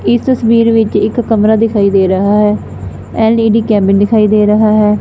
ਇਸ ਤਸਵੀਰ ਵਿੱਚ ਇੱਕ ਕਮਰਾ ਦਿਖਾਈ ਦੇ ਰਹਾ ਹੈ ਐਂਡ ਲੇਡੀ ਕੈਬਿਨ ਦਿਖਾਈ ਦੇ ਰਹਾ ਹੈ।